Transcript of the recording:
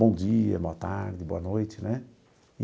Bom dia, boa tarde, boa noite, né?